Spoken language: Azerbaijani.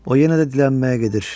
O yenə də dilənməyə gedir.